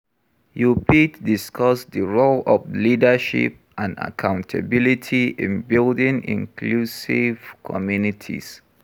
You fit discuss di role of leadership and accountability in building inclusive communities.